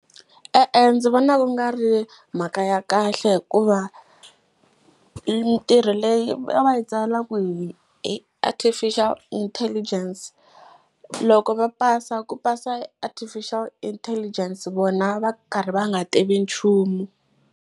E-e, ndzi vona ku nga ri mhaka ya kahle hikuva mitirho leyi va yi tsalaka hi artificial intelligence, loko va pasa ku pasa artificial intelligence vona va karhi va nga tivi nchumu.